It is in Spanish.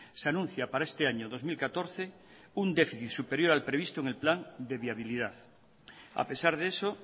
se anuncia para este año dos mil catorce un déficit superior al previsto en el plan de viabilidad a pesar de eso